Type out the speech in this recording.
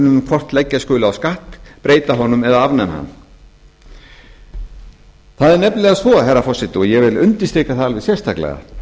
um hvort leggja skuli á skatt breyta honum eða afnema hann það er nefnilega svo herra forseti og ég vil undirstrika það alveg sérstaklega